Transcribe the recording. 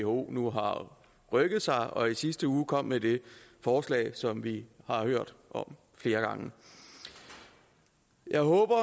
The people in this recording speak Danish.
who nu har rykket sig og i sidste uge kom med det forslag som vi har hørt om flere gange jeg håber